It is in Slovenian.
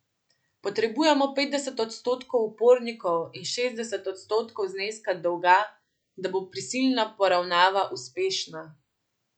Potrebujemo petdeset odstotkov upnikov in šestdeset odstotkov zneska dolga, da bo prisilna poravnava uspešna.